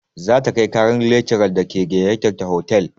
Za ta kai ƙarar lakcaran da ke gayyatar ta hotal.